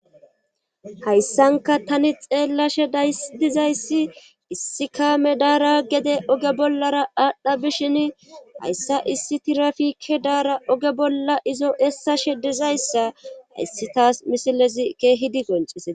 Hayssanka tani xeellashe daysdizayssi issi kaame daara gede oge bollara aadhdha bishin hayssa issi tirafikke daara oge bolla izo essashe dizayssa hayssi taas misilezi keehidi goncesee.